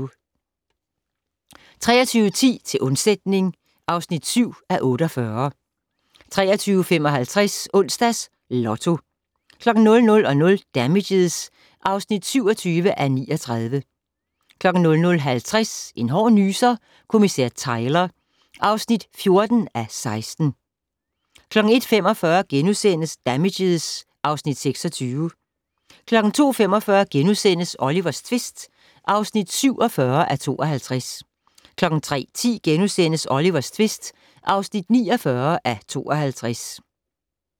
23:10: Til undsætning (7:48) 23:55: Onsdags Lotto 00:00: Damages (27:39) 00:50: En hård nyser: Kommissær Tyler (14:16) 01:45: Damages (Afs. 26)* 02:45: Olivers tvist (47:52)* 03:10: Olivers tvist (49:52)*